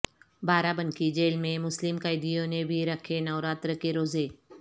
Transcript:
بارہ بنکی جیل میں مسلم قیدیوں نے بھی رکھے نوراتر کے روزے